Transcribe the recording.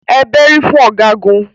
Ẹ bẹ́rí fún Ọ̀gágun.